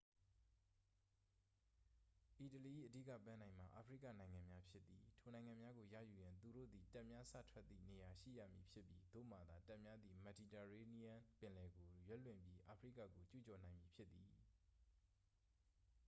အီတလီ၏ အဓိက ပန်းတိုင်မှာ အာဖရိကနိုင်ငံများဖြစ်သည် ထိုနိုင်ငံများကို ရယူရန် သူတို့သည် တပ်များ စထွက်သည့်နေရာရှိရမည်ဖြစ်ပြီး သို့မှသာ တပ်များသည် မက်ဒီတာရေးနီးယန်းပင်လယ်ကို ရွက်လွှင့်ပြီး အာဖရိကကိုကျူးကျော်နိုင်မည်ဖြစ်သည်